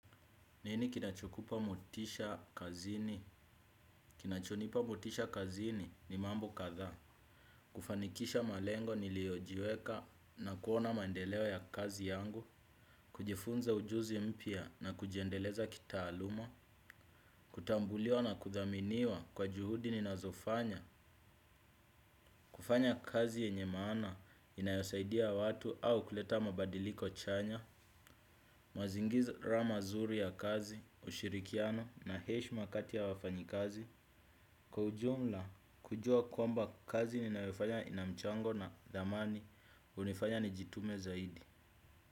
Nini kinachokupa motisha kazini? Kinachonipa motisha kazini ni mambo kadhaa. Kufanikisha malengo niliojiweka na kuona maendeleo ya kazi yangu. Kujifunza ujuzi mpya na kujiendeleza kitaaluma. Kutambuliwa na kuthaminiwa kwa juhudi ninazofanya. Kufanya kazi yenye maana inayosaidia watu au kuleta mabadiliko chanya. Mazingira mazuri ya kazi, ushirikiano na heshima kati ya wafanyakazi. Kwa ujumla kujua kwamba kazi ni ninayofanya na ina mchango na thamani hunifanya nijitume zaidi.